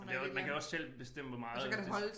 Men det også man kan også selv bestemme hvor meget de